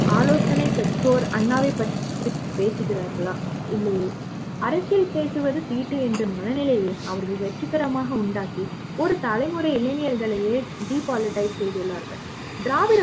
அல்லது ஆலோசனை பெற்றோர் அண்ணாவைப் பற்றி பேசுகிறார்களா இல்லையே அரசியல் பேசுவதும் தீட்டு என்ற மனநிலையை அவர்கள் வெற்றிகரமாக உண்டாக்கி ஒரு தலைமுறை இளைஞர்களையே depoliticize செய்துள்ளார்கள் திராவிட